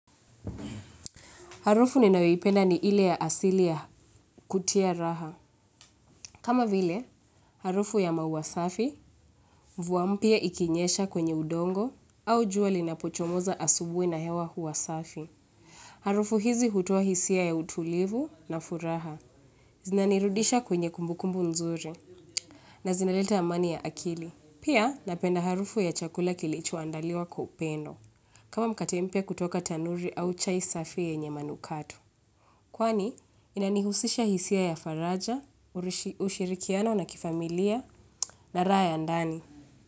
Harufu ninayoipenda ni ile ya asili ya kutia raha. Kama vile, harufu ya maua safi, mvua mpya ikinyesha kwenye udongo au jua linapochomoza asubui na hewa huwa safi. Harufu hizi hutoa hisia ya utulivu na furaha. Zinanirudisha kwenye kumbukumbu nzuri. Na zinaleta amani ya akili. Pia napenda harufu ya chakula kilicho andaliwa kwa upendo. Kama mkate mpya kutoka tanuri au chai safi yenye manukato. Kwani, inanihusisha hisia ya faraja, ushirikiano na kifamilia na raha ya ndani.